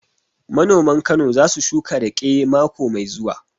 Manoman Kano za su shuka raƙe mako mai zuwa